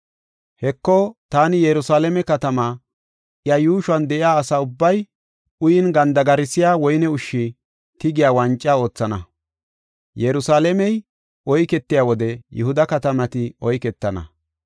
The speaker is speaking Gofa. “Heko, taani Yerusalaame katamaa, iya yuushuwan de7iya asa ubbay uyin gandigarsiya woyne ushshi tigiya wanca oothana. Yerusalaamey oyketiya wode Yihuda katamati oyketana.